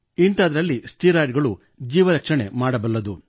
ಇಂಥದ್ದರಲ್ಲಿ steroid ಗಳು ಜೀವರಕ್ಷಣೆ ಮಾಡಬಲ್ಲವು